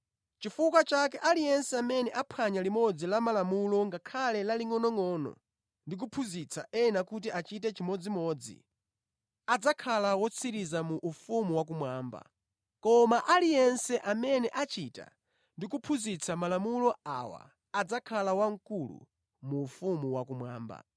Chifukwa chake aliyense amene aphwanya limodzi la malamulowa ngakhale lalingʼonongʼono ndi kuphunzitsa ena kuti achite chimodzimodzi, adzakhala wotsirizira mu ufumu wakumwamba, koma aliyense amene achita ndi kuphunzitsa malamulo awa adzakhala wamkulu mu ufumu wakumwamba.